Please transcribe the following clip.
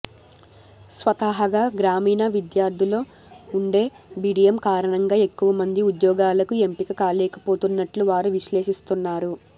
స్వతహాగా గ్రామీణ విద్యార్థుల్లో ఉండే బిడియం కారణంగా ఎక్కువమంది ఉద్యోగాలకు ఎంపిక కాలేకపోతున్నట్లు వారు విశ్లేషిస్తున్నారు